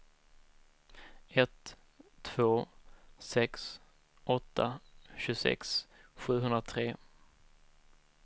ett två sex åtta tjugosex sjuhundratre